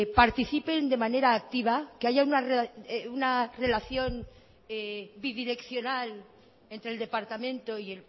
participen de manera activa que haya una relación bidireccional entre el departamento y